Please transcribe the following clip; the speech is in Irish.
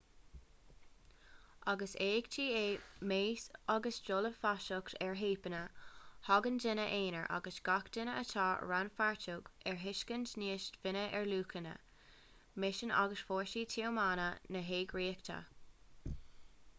agus éachtaí á meas agus dul i bhfeasacht ar theipeanna tagann daoine aonair agus gach duine atá rannpháirteach ar thuiscint níos doimhne ar luachanna misean agus fórsaí tiomána na heagraíochta